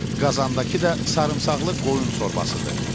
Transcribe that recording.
Qazandakı da sarımsaqlı qoyun şorbasıdır.